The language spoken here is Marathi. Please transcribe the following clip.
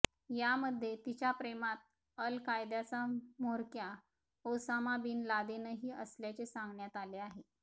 यामध्ये तिच्या प्रेमात अल कायदाचा म्होरक्या ओसामा बिन लादेनही असल्याचे सांगण्यात आले आहे